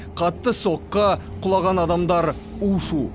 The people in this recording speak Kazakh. қатты соққы құлаған адамдар у шу